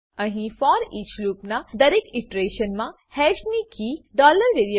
અહી for each loop ના દરેક ઈટરેશનમા હેશ ની કી variable